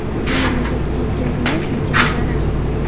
Bu mamlakatga yetkazilgan ulkan zarar.